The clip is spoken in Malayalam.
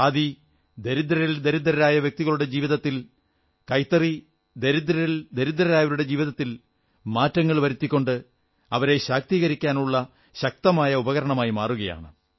ഖാദി ദരിദ്രരിൽ ദരിദ്രരായ വ്യക്തികളുടെ ജീവിതത്തിൽ കൈത്തറി ദരിദ്രരിൽ ദരിദ്രരായവരുടെ ജീവിതത്തിൽ മാറ്റങ്ങൾ വരുത്തിക്കൊണ്ട് അവരെ ശാക്തീകരിക്കാനുള്ള ശക്തമായ ഉപകരണമായി മാറുകയാണ്